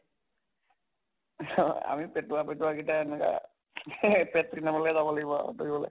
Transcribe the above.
আমি পেটুৱা পেটুৱা গিটা এনেকুৱা পেট খিনাবলে যাব লাগিব আৰু দৌৰিবলে